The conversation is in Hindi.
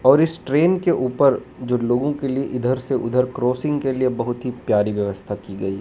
और इस ट्रेन के ऊपर जो लोगों के लिए इधर से उधर क्रॉसिंग के लिए बहुत ही प्यारी व्यवस्था की गई है।